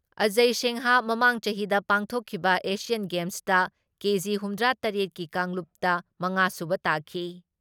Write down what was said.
ꯑꯥꯖꯌ ꯁꯤꯡꯍ ꯃꯃꯥꯡ ꯆꯍꯤꯗ ꯄꯥꯡꯊꯣꯛꯈꯤꯕ ꯑꯦꯁꯤꯌꯥꯟ ꯒꯦꯝꯁꯇ ꯀꯦ.ꯖꯤ. ꯍꯨꯝꯗ꯭ꯔꯥ ꯇꯔꯦꯠ ꯀꯤ ꯀꯥꯡꯂꯨꯞꯇ ꯃꯉꯥꯁꯨꯕ ꯇꯥꯈꯤ ꯫